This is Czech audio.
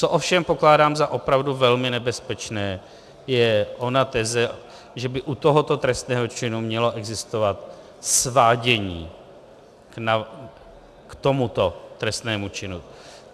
Co ovšem pokládám za opravdu velmi nebezpečné, je ona teze, že by u tohoto trestného činu mělo existovat svádění k tomuto trestnému činu.